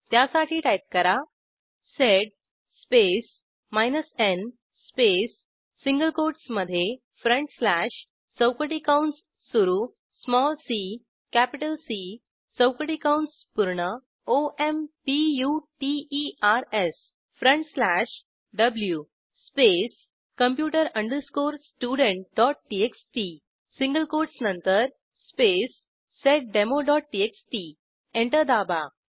त्यासाठी टाईप करा sed space n space single कोटसमधे चौकटी कंस सुरू सीसी चौकटी कंस पूर्ण computersव्ही space computer studenttxt single quotes नंतर स्पेस seddemoटीएक्सटी एंटर दाबा